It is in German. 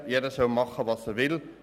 Jeder soll machen, was er will.